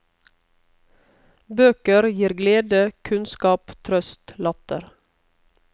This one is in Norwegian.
Bøker glir glede, kunnskap, trøst, latter.